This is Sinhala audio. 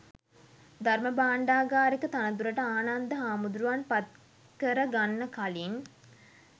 ධර්ම භාණ්ඩාගාරික තනතුරට ආනන්ද හාමුදුරුවන් පත් කර ගන්න කලින්